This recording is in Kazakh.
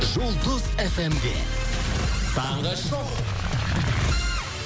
жұлдыз эф эм де таңғы шоу